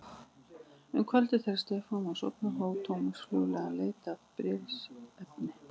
Um kvöldið þegar Stefán var sofnaður hóf Thomas hljóðlega leit að bréfsefni.